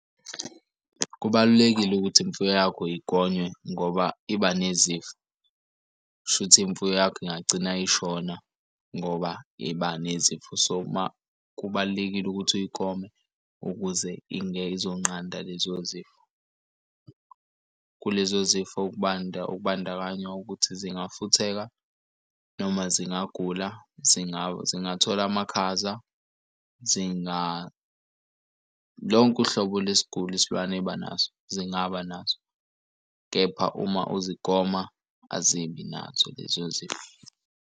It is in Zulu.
Kubalulekile ukuthi imfuyo yakho igonywe ngoba iba nezifo, kushuthi imfuyo yakho ingagcina ishona ngoba iba nezifo. So uma kubalulekile ukuthi uyigome ukuze izonqanda lezo zifo. Kulezo zifo ukubanda ukubandakanya ukuthi zingafutheka noma zingagula zingathola amakhaza lonke uhlobo lwesiguli isilwane eba naso zingaba naso, kepha uma uzogoma azibi nazo lezo zifo.